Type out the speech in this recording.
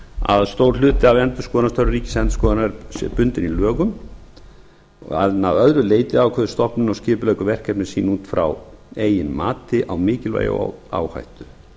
að stór hluti af endurskoðunarstörfum ríkisendurskoðunar sé bundinn í lögum en að öðru leyti ákveður stofnunin og skipuleggur verkefni sín út frá eigin mati á mikilvægi og áhættu